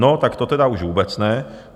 No, tak to tedy už vůbec ne.